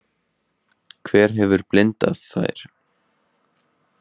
Hver hefur blindað þær?